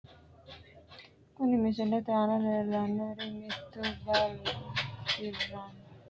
Kuni misilete aana la`neemori mittu biraanu negiho ku`u kayini anga badhee wodhe ledosi uurino biraanuno angate amade leelishani no maatiro afinooni.